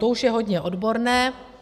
To už je hodně odborné.